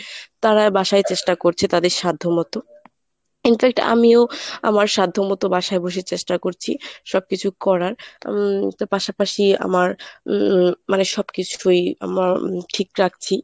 তারা বাসায় চেষ্টা করছে তাদের সাধ্যমত, in fact আমিও আমার সাধ্যমত বাসায় বসে চেষ্টা করছি সবকিছু করার উম পাশাপাশি আমার উম মানে সবকিছুই আমরা ঠিকঠাক।